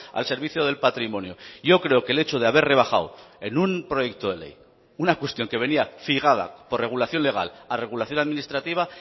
al servicio del patrimonio yo creo que el hecho de haber rebajado en un proyecto de ley una cuestión que venía fijada por regulación legal a regulación administrativa